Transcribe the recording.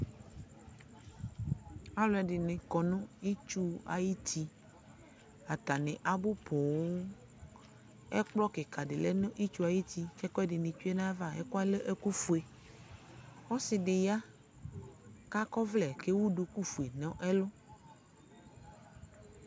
Aluɛdini kɔ nu itsu ayu uti atani abu poo ɛkplɔ kika di lɛ nu ɛkplɔ ayu uti ɛkuɛdi nu tsue nu ayava ɛkuɛdi nu lɛ ofue ɔsidi ya ka kɔ ɔvlɛ ku ewu duku fue nu ɛlu